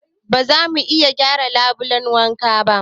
Ba zamu iya gyara labulen wankan ba